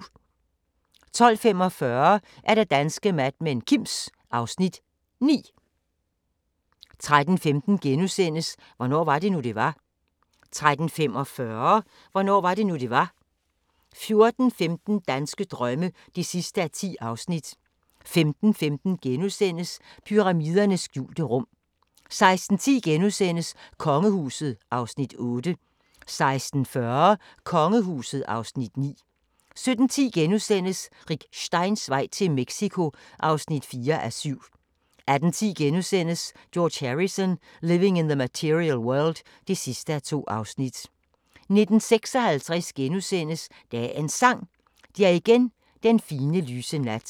12:45: Danske Mad Men: Kims (Afs. 9) 13:15: Hvornår var det nu, det var? * 13:45: Hvornår var det nu, det var? 14:15: Danske drømme (10:10)* 15:15: Pyramidernes skjulte rum * 16:10: Kongehuset (Afs. 8)* 16:40: Kongehuset (Afs. 9) 17:10: Rick Steins vej til Mexico (4:7)* 18:10: George Harrison – Living in The Material World (2:2)* 19:56: Dagens Sang: Det er igen den fine, lyse nat *